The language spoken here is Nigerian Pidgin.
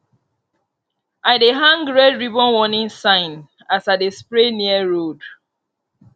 i dey hang red ribbon warning sign as i dey spray near road